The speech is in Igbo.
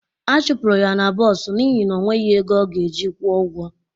A chụpụrụ ya n'bos n'ihi ọ nweghị ego ọ ga-eji kwuo ụgwọ